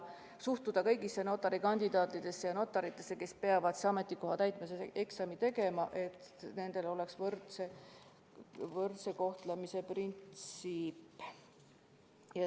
Kõigisse notari kandidaatidesse ja notaritesse, kes peavad ametikoha täitmise eksami tegema, tuleb ühtmoodi suhtuda, et kehiks võrdse kohtlemise printsiip.